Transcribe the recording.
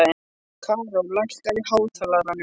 Karó, lækkaðu í hátalaranum.